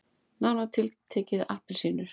Nánar tiltekið appelsínur.